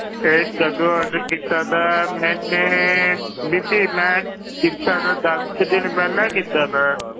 ਇਹ ਕਦੋਂ order ਕੀਤਾ ਸੀ, ਮੈਨੇ ਬੀਬੀ ਮੈਂ ਕੀਤਾ ਤਾਂ ਦਸ ਕੁ ਦਿਨ ਪਹਿਲਾਂ ਕੀਤਾ ਸੀ।